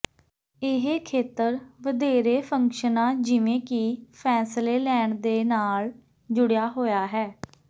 ਇਹ ਖੇਤਰ ਵਧੇਰੇ ਫੰਕਸ਼ਨਾਂ ਜਿਵੇਂ ਕਿ ਫੈਸਲੇ ਲੈਣ ਦੇ ਨਾਲ ਜੁੜਿਆ ਹੋਇਆ ਹੈ